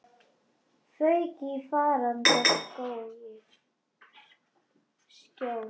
Fauk í faranda skjól.